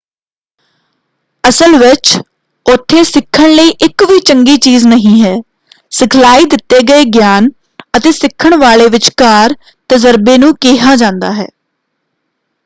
ਅਸਲ ਵਿੱਚ ਉੱਥੇ ਸਿੱਖਣ ਲਈ ਇੱਕ ਵੀ ਚੰਗੀ ਚੀਜ਼ ਨਹੀਂ ਹੈ। ਸਿਖਲਾਈ ਦਿੱਤੇ ਗਏ ਗਿਆਨ ਅਤੇ ਸਿੱਖਣ ਵਾਲੇ ਵਿਚਕਾਰ ਤਜਰਬੇ ਨੂੰ ਕਿਹਾ ਜਾਂਦਾ ਹੈ।